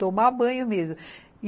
Tomar banho mesmo.